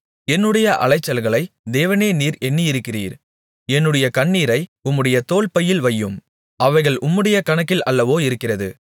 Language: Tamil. என்னுடைய அலைச்சல்களை தேவனே நீர் எண்ணியிருக்கிறீர் என்னுடைய கண்ணீரை உம்முடைய தோல்பையில் வையும் அவைகள் உம்முடைய கணக்கில் அல்லவோ இருக்கிறது